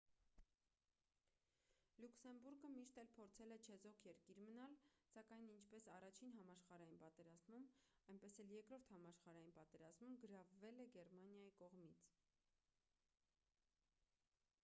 լյուքսեմբուրգը միշտ էլ փորձել է չեզոք երկիր մնալ սակայն ինչպես i-ին համաշխարհային պատերազմում այնպես էլ ii-րդ համաշխարհային պատերազմում գրավվել է գերմանիայի կողմից: